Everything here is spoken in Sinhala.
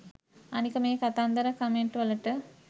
අනික මේ කතන්දර කමෙන්ට් වලට